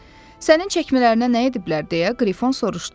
Sənin çəkmələrinə nə ediblər deyə Qrifon soruşdu.